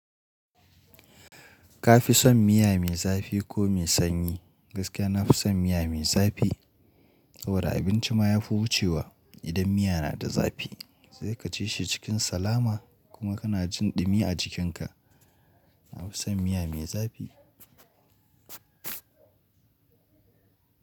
Ka fi son miya mai zafi ko mai sanyi? Gaskiya na fi son miya mai zafi. Saboda abinci ma ya fi wucewa idan miya na da zafi. Zai ka ci shi cikin salama kuma ka na jin ɗumi a jikinka. Na fi son miya mai zafi.